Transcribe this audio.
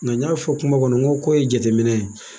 Nka n y'a fɔ kuma kɔnɔ n ko ye jateminɛ